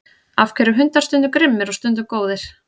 af hverju eru hundar stundum grimmir og stundum góðir